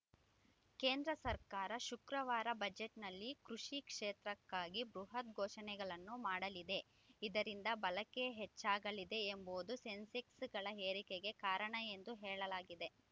ಕೇಂದ್ರ ಸರ್ಕಾರ ಶುಕ್ರವಾರದ ಬಜೆಟ್‌ನಲ್ಲಿ ಕೃಷಿ ಕ್ಷೇತ್ರಕ್ಕಾಗಿ ಬೃಹತ್‌ ಘೋಷಣೆಗಳನ್ನು ಮಾಡಲಿದೆ ಇದರಿಂದ ಬಳಕೆ ಹೆಚ್ಚಾಗಲಿದೆ ಎಂಬುದು ಸೆನ್ಸೆಕ್ಸ್‌ ಏರಿಕೆಗೆ ಕಾರಣ ಎಂದು ಹೇಳಲಾಗಿದೆ